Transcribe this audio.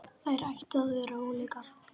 Þær ættu að vera ólíkar.